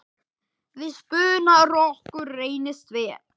Við spuna rokkur reynist vel.